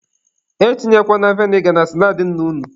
E tinyekwana veniga na saladị nna unu.